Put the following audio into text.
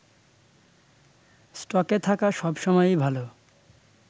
স্টকে থাকা সব সময়ই ভালো